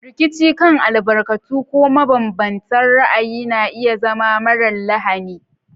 Rikici kan albarkatu ko mabanbantan ra'ayi na iya zama marar lahani.